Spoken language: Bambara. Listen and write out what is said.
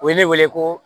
U ye ne wele ko